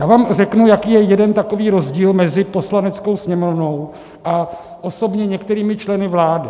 Já vám řeknu, jaký je jeden takový rozdíl mezi Poslaneckou sněmovnou a osobně některými členy vlády.